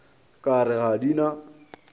ka re ga di na